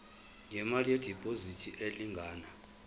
ngemali yediphozithi elingana